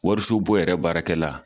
Wariso bon yɛrɛ baarakɛla